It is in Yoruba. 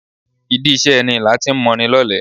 Ìdí iṣẹ́ ẹni lati ń moni lọ́lẹ.